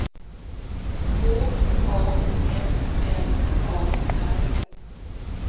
H A M M A R